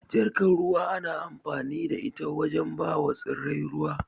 Jarkar ruwa ana amfani da ita wajen bawa tsirrai ruwa.